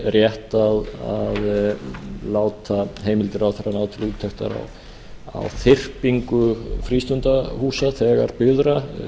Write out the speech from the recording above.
rétt að láta heimildir ráðherra ná til úttektar á þyrpingu frístundahúsa þegar byggðra